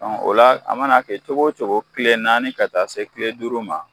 o la a mana kɛ cogo o cogo kile naani ka taa se kile duuru ma